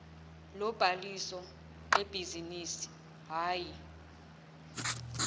lobhaliso lebhizinisi hhayi